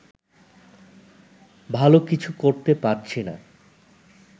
ভালো কিছু করতে পারছি না